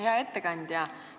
Hea ettekandja!